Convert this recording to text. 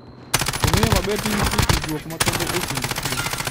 Ong'eyo maber ni nitie tudruok makende e kind kich.